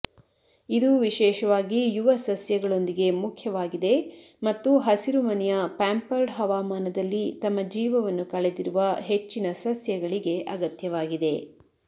ಇದು ವಿಶೇಷವಾಗಿ ಯುವ ಸಸ್ಯಗಳೊಂದಿಗೆ ಮುಖ್ಯವಾಗಿದೆ ಮತ್ತು ಹಸಿರುಮನೆಯ ಪ್ಯಾಂಪರ್ಡ್ ಹವಾಮಾನದಲ್ಲಿ ತಮ್ಮ ಜೀವವನ್ನು ಕಳೆದಿರುವ ಹೆಚ್ಚಿನ ಸಸ್ಯಗಳಿಗೆ ಅಗತ್ಯವಾಗಿದೆ